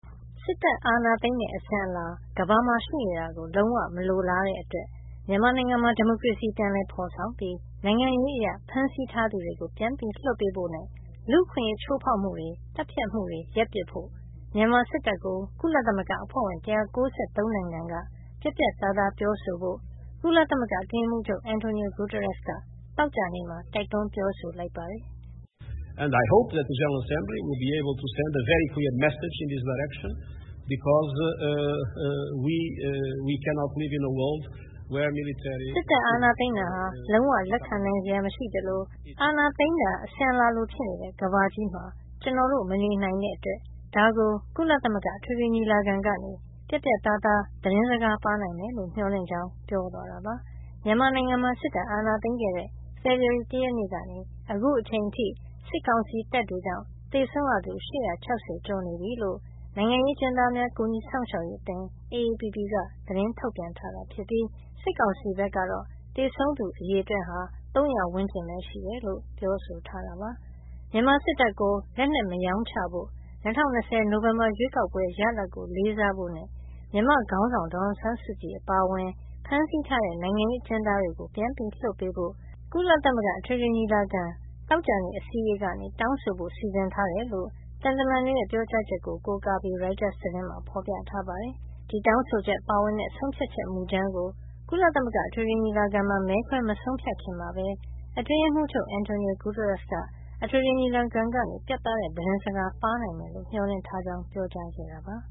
စစ်တပ်အာဏာသိမ်းတဲ့ အစဉ်အလာ ကမ္ဘာမှာရှိနေတာကို လုံးဝမလိုလားတဲ့ အတွက် မြန်မာနိုင်ငံမှာ ဒီမိုကရေစီပြန်လည် ဖေါ်ဆောင်ပြီး နိုင်ငံရေးအရ ဖမ်းဆီးထားသူတွေကို ပြန်လွှတ်ပေးဖို့ နဲ့ လူ့အခွင့်ရေးချိုးဖေါက်မှုတွေ သတ်ဖြတ်မှုတွေရပ်ပစ်ဖို့ မြန်မာစစ်တပ်ကို ကုလသမဂ္ဂအဖွဲ့ဝင် ၁၉၃ နိုင်ငံတွေက ပြတ်ပြတ်သားသား ပြောဆိုကြဖို့ ကုလသမဂ္ဂအတွင်းရေးမှုးချုပ် Antonio Guterres က သောကြာနေ့မှာ တိုက်တွန်းပြောဆိုလိုက်ပါတယ်။ “စစ်တပ်အာဏာသိမ်းတာဟာ လုံးဝလက်ခံနိုင်စရာ မရှိသလို အာဏာသိမ်းတာဟာ အစဉ်အလာလို ဖြစ်နေတဲ့ ကမ္ဘာကြီးမှာ ကျနော်တို့ မနေနိုင်တဲ့အတွက် ဒါကို ကုလသမဂ္ဂ အထွေထွေညီလာခံကနေ ပြတ်ပြတ်သားသား သတင်းစကား ပါးနိုင်မယ်လို့ " မျှော်လင့်ကြောင်း ပြောသွားတာပါ။ မြန်မာနိုင်ငံမှာ စစ်တပ်အာဏာသိမ်းခဲ့တဲ့ ဖေဖေါ်ဝါရီလ ၁ ရက်နေ့ ကနေ အခုအချိန်အထိ စစ်ကောင်စီတပ်တွေကြောင့် သေဆုံးရသူ ၈၆၀ ကျော်နေပြီလို့ နိုင်ငံရေး အကျဉ်းသားများ ကူညီစောင့်ရှောက်ရေး အသင်း AAPP က သတင်းထုတ်ပြန်ထားတာ ဖြစ်ပြီး စစ်ကောင်စီကတော့ သေဆုံးသူအရေအတွက် ၃၀၀ ဝန်းကျင်ပဲ ရှိတယ်လို့ ပြောဆိုထားတာပါ။ မြန်မာစစ်တပ်ကို လက်နက်မရောင်းချဖို့၊ ၂၀၂၀ နိုဝင်ဘာရွေးကောက်ပွဲ ရလဒ်ကို လေးစားဖို့နဲ့ မြန်မာ့ခေါင်းဆောင် ဒေါ်အောင်ဆန်းစုကြည် အပါအဝင် ဖမ်းဆီးထားတဲ့ နိုင်ငံရေး အကျဉ်းသားတွေကို လွှတ်ပေးဖို့ ကုလသမဂ္ဂ အထွေထွေညီလာခံက သောကြာနေ့ အစည်းဝေးကနေ တောင်းဆိုဖို့ စီစဉ်ထားတယ်လို့ သံတမန်တွေရဲ့ ပြောကြားချက်ကို ရိုက်တာသတင်းမှာ ဖေါ်ပြထားပါတယ်။ ဒီတောင်းဆိုချက်ပါဝင်တဲ့ ဆုံးဖြတ်ချက် မူကြမ်းကို ကုလသမဂ္ဂအထွေထွေ ညီလာခံမှာ မဲခွဲ မဆုံးဖြတ်ခင်မှာပဲ အတွင်းရေးမှုးချုပ် Guterres ကတော့ အထွေထွေ ညီလာခံကနေ ပြတ်သားတဲ့ သတင်းစကား ပါးနိုင်မယ်လို့ မျှော်လင့်ထားကြောင်း ပြောကြားခဲ့တာပါ။